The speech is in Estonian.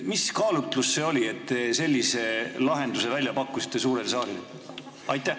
Mis kaalutlus see oli, et te sellise lahenduse suurele saalile välja pakkusite?